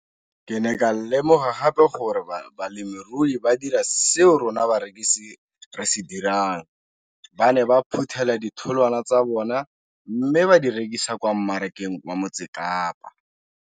Ke ne ka lemoga gape gore balemirui ba dira seo rona barekisi re se dirang ba ne ba phuthela ditholwana tsa bona mme ba di rekisa kwa marakeng wa Motsekapa.